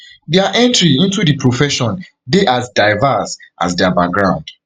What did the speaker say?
dia entry into di profession dey as diverse as dia background